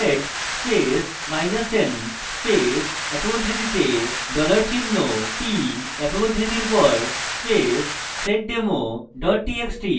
sed space minus n space একক উদ্ধৃতিতে $চিহ্ন p একক উদ্ধৃতির পর space seddemo txt txt